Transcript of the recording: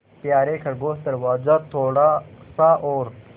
यारे खरगोश दरवाज़ा थोड़ा सा और